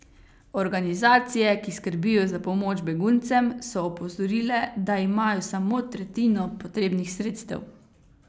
Organizacije, ki skrbijo za pomoč beguncem, so opozorile, da imajo samo tretjino potrebnih sredstev.